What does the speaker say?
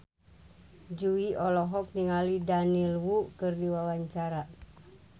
Jui olohok ningali Daniel Wu keur diwawancara